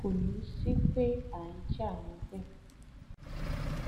kò ní í sí pé à ń jà níbẹ